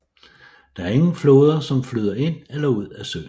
Der ingen floder som flyder ind eller ud af søen